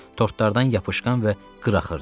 Tortlardan yapışqan və qıraxdı.